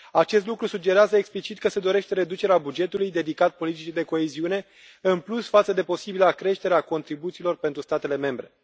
Acest lucru sugerează explicit că se dorește reducerea bugetului dedicat politicii de coeziune, în plus față de posibila creștere a contribuțiilor pentru statele membre.